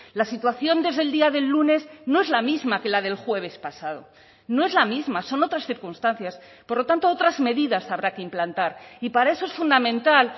la situación desde el día del lunes no es la misma que la del jueves pasado no es la misma son otras circunstancias por lo tanto otras medidas habrá que implantar y para eso es fundamental